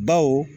Baw